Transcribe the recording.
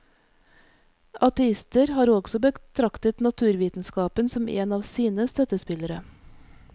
Ateister har også betraktet naturvitenskapen som en av sine støttespillere.